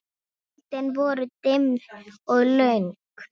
Kvöldin voru dimm og löng.